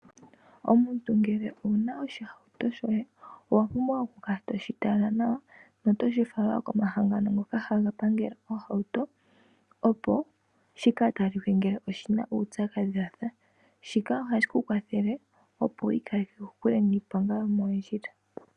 Omuntu ngele owu na oshihauto shoye owa pumbwa oku kala toshi tala nawa notoshi talitha wo komahangano ngoka haga pangele oohauto opo shi ka talike ngele oshina uupyakadhi washa. Shika ohashi ku kwathele opo wu ikaleke kokule niiponga yomoondjila.